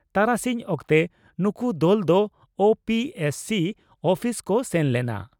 ᱛᱟᱨᱟᱥᱤᱧ ᱚᱠᱛᱮ ᱱᱩᱠᱩ ᱫᱚᱞ ᱫᱚ ᱳᱹᱯᱤᱹᱮᱥᱹᱥᱤᱹ ᱩᱯᱤᱥ ᱠᱚ ᱥᱮᱱ ᱞᱮᱱᱟ ᱾